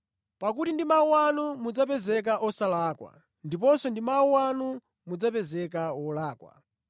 Pakuti ndi mawu anu mudzapezeka osalakwa ndiponso ndi mawu anu mudzapezeka olakwa.”